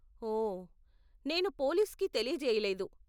ఓ, నేను పోలీస్కి తెలియజేయలేదు.